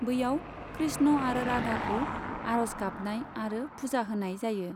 बैयाव कृष्ण आरो राधाखौ आरज गाबनाय आरो पुजा होनाय जायो।